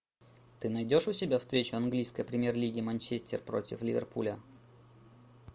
ты найдешь у себя встречу английской премьер лиги манчестер против ливерпуля